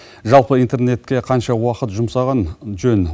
жалпы интернетке қанша уақыт жұмсаған жөн